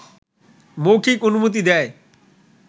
মৌখিক অনুমতি দেয়